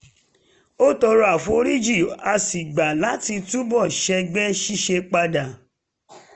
ó tọrọ àforíjì a sì gbà láti tún bọ̀ sẹ́gbẹ́ ṣíṣe padà